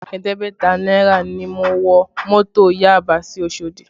Ẹ̀ẹ́dẹ́gbẹ̀ta náírà ni mo wọ mọ́tò Yaba sí Osodi